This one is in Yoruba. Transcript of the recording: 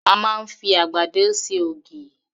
A máa ń fi àgbàdo ṣe ògì.